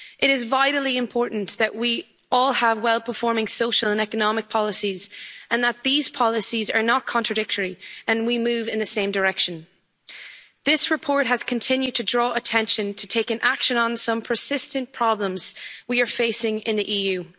It is vitally important that we all have well performing social and economic policies, that these policies are not contradictory and that we move in the same direction. This report has continued to draw attention to the need for action on some persistent problems that we face in the EU.